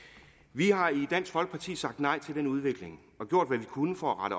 vi har i dansk folkeparti sagt nej til den udvikling og gjort hvad vi kunne for at